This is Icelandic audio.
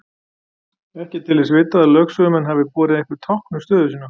Ekki er til þess vitað að lögsögumenn hafi borið einhver tákn um stöðu sína.